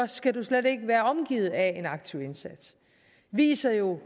skal du slet ikke være omgivet af en aktiv indsats viser jo